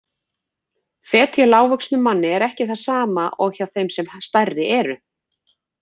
Fet hjá lágvöxnum manni er ekki það sama og hjá þeim sem stærri eru.